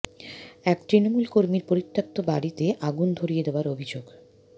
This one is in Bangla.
এক তূনমূল কর্মীর পরিত্যক্ত বাড়িতে আগুন ধরিয়ে দেওয়ার অভিযোগ